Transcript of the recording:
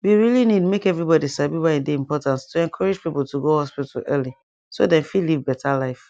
we really need make everybody sabi why e dey important to encourage people to go hospital early so dem fit live better life